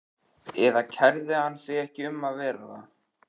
Eða kærði hann sig ekki um að vera það?